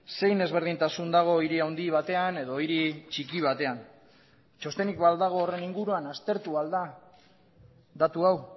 zein ezberdintasun dago hiri handi batean edo hiri txiki batean txostenik ba al dago horren inguruan aztertu al da datu hau